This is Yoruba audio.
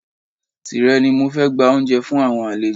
Tírẹ̀ ni mo fi gbé oúnjẹ fún àwọn àlejò rẹ